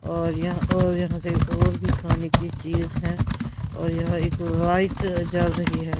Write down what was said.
और यहां और यहां से और भी खाने की चीज है और यहां एक लाइट जल रही है।